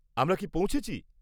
আমরা কি পৌঁছেছি?